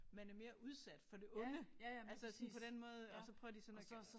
Man er mere udsat for det onde altså sådan på den måde og så prøver de sådan at gøre